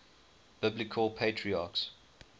biblical patriarchs